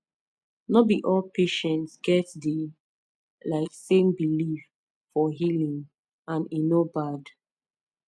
no be all patients get the um same belief for healing and e no bad